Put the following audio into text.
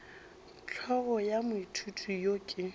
hlogo ya moithuti yo ke